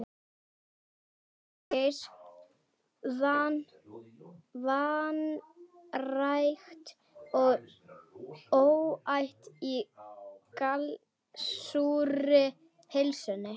Ásgeirs, vanrækt og óæt í gallsúrri pylsunni.